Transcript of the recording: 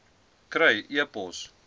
kry e pos